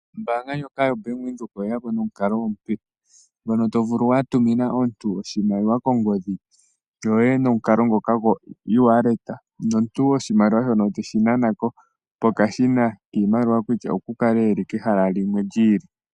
Ombaanga ndjoka yoBank Windhoek oye ya po nomukalo omupe, ngono to vulu wa tumina omuntu oshimaliwa kongodhi yoye nomukalo ngoka goEwallet. Nomuntu oshimaliwa shono teshi nana ko pokashina kiimaliwa kutya okukale eli I kehala limwe lyi ili.